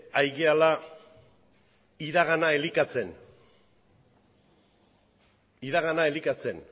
ari garela iragana elikatzen